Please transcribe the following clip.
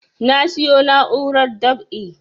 Na siyo na'urar dab'i